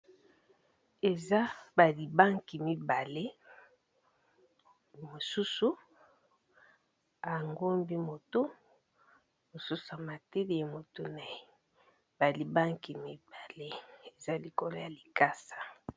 Eza ba libanki mibale, mosusu angombi moto mosusu a mateli ye moto naye ba libanki mibale eza likolo ya likasa.